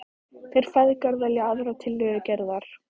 Þeir feðgar velja aðra tillögu Gerðar.